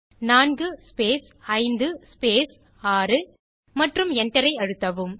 4 space 5 space 6 மற்றும் Enter ஐ அழுத்தவும்